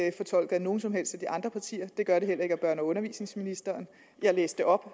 ikke fortolket af nogen som helst af de andre partier og det gør det heller ikke af børne og undervisningsministeren jeg læste op